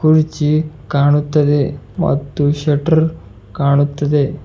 ಕುರ್ಜಿ ಕಾಣುತ್ತದೆ ಮತ್ತು ಶಟರ್ ಕಾಣುತ್ತಿದೆ.